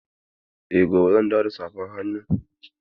Eh, gobe ne zan dawo da safar hannun.